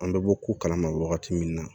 An bɛ bɔ ko kalama wagati min na